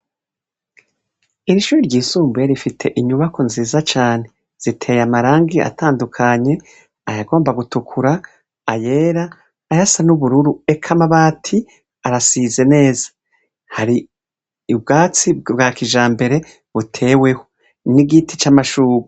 Iri shure ryisumbuye rifise inyubako nziza cane ziteye amarangi atandukanye ayagomba gutukura ayera ayasa nubururu eka amabati arasize neza, hari ubwatsi bwa kijambere buteweho n'igiti camashurwe.